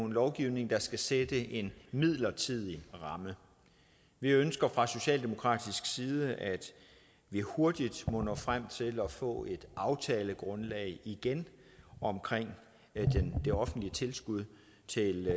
lovgivning der skal sætte en midlertidig ramme vi ønsker fra socialdemokratisk side at vi hurtigt må nå frem til at få et aftalegrundlag igen omkring det offentlige tilskud til